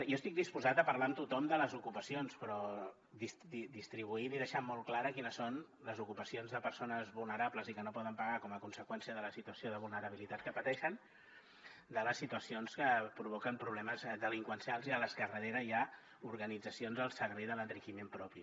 jo estic disposat a parlar amb tothom de les ocupacions però distribuint i deixant molt clares quines són les ocupacions de persones vulnerables i que no poden pagar com a conseqüència de la situació de vulnerabilitat que pateixen de les situacions que provoquen problemes delinqüencials i a les que al darrere hi ha organitzacions al servei de l’enriquiment propi